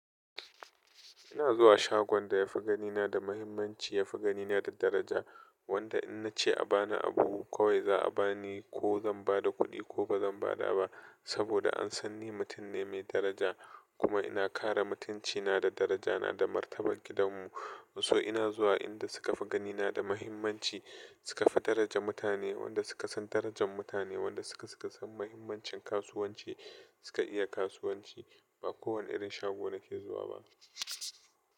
Ina zuwa shagon da yafi gani na da mahimmanci, yafi gani na da daraja. Wanda in nace a bani abu kawai za a bani ko zan bada kuɗi ko bazan bada ba. Saboda an san ni mutum ne mai daraja kuma ina kare mutunci na da daraja na da martabar gidan mu. So ina zuwa inda sukafi gani na da mahimmanci, sukafi daraja mutane wanda suka san darajan mutane, wanda suka san mahimmancin kasuwanci suka iya kasuwanci. Ba kowane irin shago nake zuwa ba.